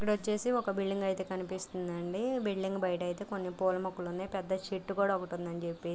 ఇక్కడొచ్చేసి ఒక బిల్డింగ్ అయితే కనిపిస్తుంది అండి. బిల్డింగ్ బయటైతే మాత్రం కొన్ని పూల మొక్కలు ఉన్నాయి. పెద్ద చెట్టు కూడా ఒకటి ఉందని చెప్పేసి--